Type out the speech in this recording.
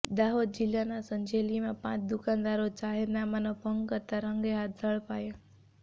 દાહોદ જિલ્લાના સંજેલીમાં પાંચ દુકાનદારો જાહેરનામાનો ભંગ કરતા રંગેહાથ ઝડપાયા